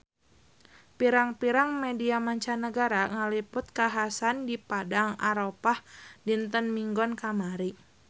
Pirang-pirang media mancanagara ngaliput kakhasan di Padang Arafah dinten Minggon kamari